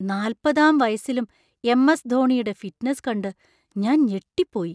നാല്‍പതാം വയസ്സിലും M. S. ധോണിയുടെ fitness കണ്ട് ഞാൻ ഞെട്ടിപ്പോയി.